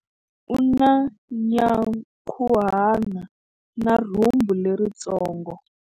U na nyankhuhana na rhumbu leritsongo.